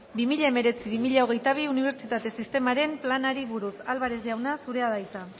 bi mila hemeretzi bi mila hogeita bi unibertsitate sistemaren planari buruz álvarez jauna zurea da hitza